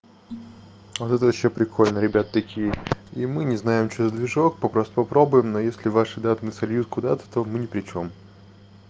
вот это вообще прикольно ребята такие и мы не знаем что за движок попросту попробуем но если ваши данные сольют куда-то то мы не причём